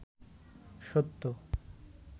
সত্য